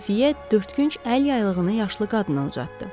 Xəfiyə dördkünc əl yaylığını yaşlı qadına uzatdı.